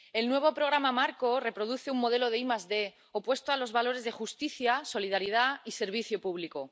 El nuevo programa marco reproduce un modelo de ID opuesto a los valores de justicia, solidaridad y servicio público.